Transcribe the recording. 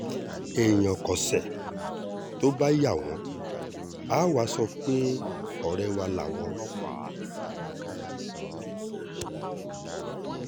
èèyàn kọsẹ̀ tó bá yá wọn àá wàá sọ pé ọ̀rẹ́ wà láwọn ọlọ́pàá